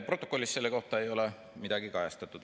Protokollis selle kohta ei ole midagi kajastatud.